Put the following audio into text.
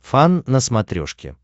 фан на смотрешке